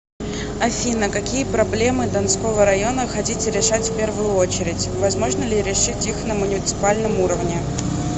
афина какие проблемы донского района хотите решать в первую очередь возможно ли решить их на муниципальном уровне